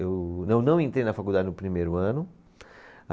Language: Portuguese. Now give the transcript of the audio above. Eu não, não entrei na faculdade no primeiro ano. A